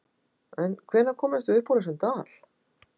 En hvenær komumst við upp úr þessum dal?